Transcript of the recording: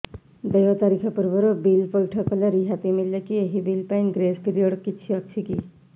ଦେୟ ତାରିଖ ପୂର୍ବରୁ ବିଲ୍ ପୈଠ କଲେ ରିହାତି ମିଲେକି ଏହି ବିଲ୍ ପାଇଁ ଗ୍ରେସ୍ ପିରିୟଡ଼ କିଛି ଅଛିକି